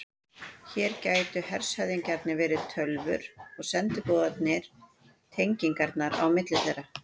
Hér gætu hershöfðingjarnir verið tölvur og sendiboðarnir tengingarnar á milli þeirra.